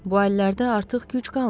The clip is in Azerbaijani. Bu əllərdə artıq güc qalmayıb.